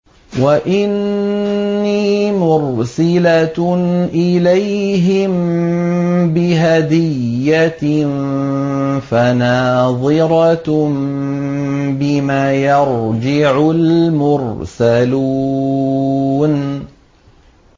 وَإِنِّي مُرْسِلَةٌ إِلَيْهِم بِهَدِيَّةٍ فَنَاظِرَةٌ بِمَ يَرْجِعُ الْمُرْسَلُونَ